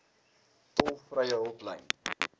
tolvrye hulplyn